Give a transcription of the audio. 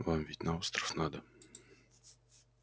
вам ведь на остров надо